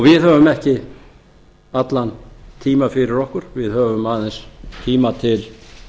við höfum ekki allan tíma fyrir okkur við höfum aðeins tíma til